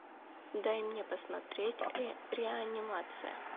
дай мне посмотреть реанимация